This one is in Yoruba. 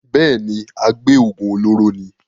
bẹ́ẹ̀ni, agbé òògùn olóró ni.